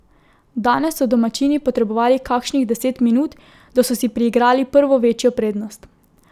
Danes so domačini potrebovali kakšnih deset minut, da so si priigrali prvo večjo prednost.